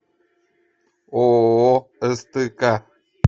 ооо стк